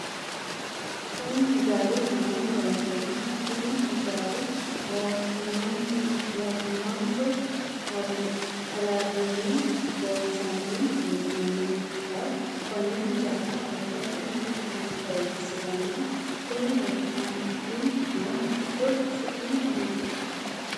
kuni hijaari mayiinni loonsoonniho? kuni hijaari mootimmanso hallanyunni loonsanni hee'nooniho konne hijaara loosate mannu maa horonsiranno? tini leeltanni noo haqqicho su'mi maati?